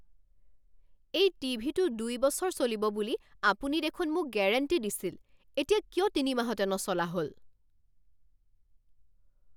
এই টিভিটো দুই বছৰ চলিব বুলি আপুনি দেখোন মোক গেৰাণ্টি দিছিল এতিয়া কিয় ৩ মাহতে নচলা হ'ল!